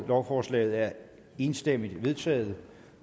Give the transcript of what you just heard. lovforslaget er enstemmigt vedtaget